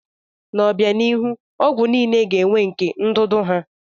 N'obianihu, ọgwụ niile ga-enwe nke ndụdụ ha.